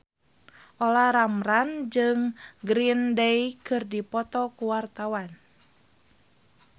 Olla Ramlan jeung Green Day keur dipoto ku wartawan